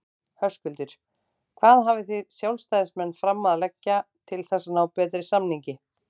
Höskuldur: Hvað hafið þið sjálfstæðismenn fram að leggja til þess að ná betri samningi?